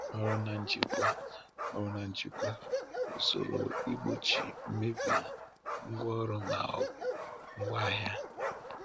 Ọrụ na njikwa Ọrụ na njikwa – Usoro igbochi mmebi ngwaọrụ ma ọ bụ ngwaahịa.